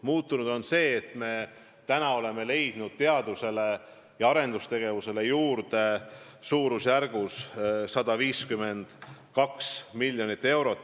Muutunud on see, et me oleme leidnud teadusele ja arendustegevusele juurde suurusjärgus 152 miljonit eurot.